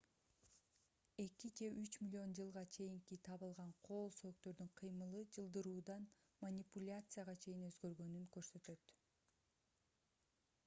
эки же үч миллион жылга чейинки табылган кол сөөктөрдүн кыймылы жылдыруудан манипуляцияга чейин өзгөргөнүн көрсөтөт